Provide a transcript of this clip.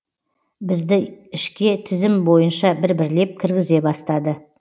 бізді ішке тізім бой ынша бір бірлеп кіргізе бастады